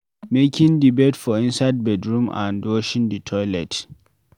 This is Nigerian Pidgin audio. Making the bed for inside bedroom vs washing the toilet